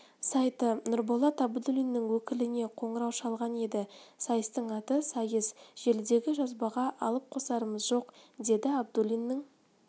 сайты нұрболат абдуллиннің өкіліне қоңырау шалған еді сайыстың аты сайыс желідегі жазбаға алып-қосарымыз жоқ деді абдуллиннің